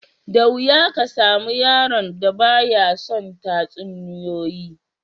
Da wuya ka samu yaron da ba ya son tatsuniyoyi